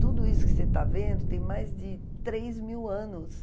Tudo isso que você está vendo tem mais de três mil anos.